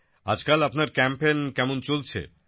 আজকাল আপনার ক্যাম্পেন কেমন চলছে